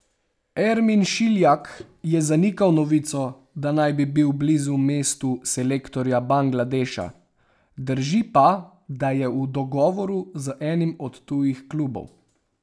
Ermin Šiljak je zanikal novico, da naj bi bil blizu mestu selektorja Bangladeša, drži pa, da je v dogovoru z enim od tujih klubov.